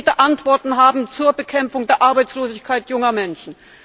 wollen konkrete Antworten haben zur Bekämpfung der Arbeitslosigkeit junger Menschen.